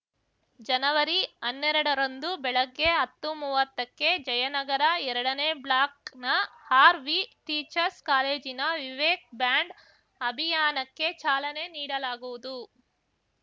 ಜನವರಿಅನ್ನೆರಡರಂದು ಬೆಳಗ್ಗೆ ಅತ್ತುಮುವ್ವತ್ತಕ್ಕೆ ಜಯನಗರ ಎರಡನೇ ಬ್ಲಾಕ್‌ನ ಆರ್‌ವಿಟೀಚರ್ಸ್ ಕಾಲೇಜಿನ ವಿವೇಕ್‌ ಬ್ಯಾಂಡ್‌ ಅಭಿಯಾನಕ್ಕೆ ಚಾಲನೆ ನೀಡಲಾಗುವುದು